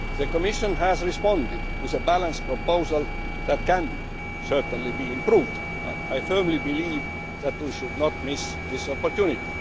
The Commission has responded with a balanced proposal that may, nonetheless, be improved upon. I firmly believe that we should not miss this opportunity.